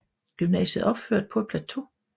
Gymnasiet er opført på et plateau